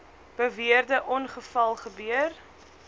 beweerde ongeval gebeur